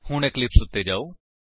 ਹੁਣ ਇਕਲਿਪਸ ਉੱਤੇ ਜਾਓ